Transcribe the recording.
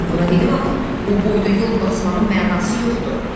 Mən buna dedim axı, bu boyda yol basmağın mənası yoxdur.